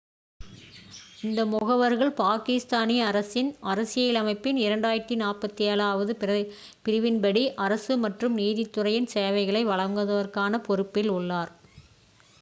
இந்த முகவர்கள் பாகிஸ்தானிய அரசின் அரசியலமைப்பின் 247- வது பிரிவின்படி அரசு மற்றும் நீதித்துறையின் சேவைகளை வழங்குவதற்கான பொறுப்பில் உள்ளனர்